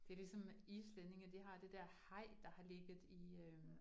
Det ligesom islændinge, de har det der haj, der har ligget i øh